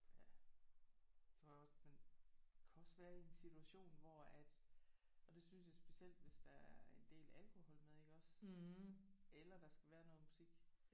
Ja tror jeg også men kan også være i en situation hvor at og det synes jeg specielt hvis der er en del alkohol med iggås eller der skal være noget musik